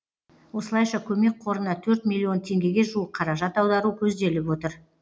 осылайша көмек қорына төрт миллион теңгеге жуық қаражат аудару көзделіп отыр